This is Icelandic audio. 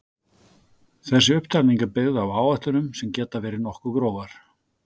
þessi upptalning er byggð á áætlunum sem geta verið nokkuð grófar